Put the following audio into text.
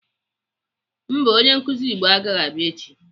Mba, onye nkụzi Igbo agaghị abịa echi.